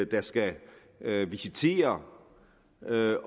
der skal visitere